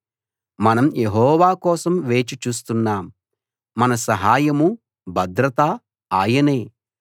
మనం యెహోవా కోసం వేచి చూస్తున్నాం మన సహాయమూ భద్రతా ఆయనే